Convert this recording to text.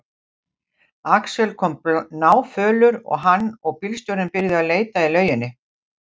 Axel kom náfölur og hann og bílstjórinn byrjuðu að leita í lauginni.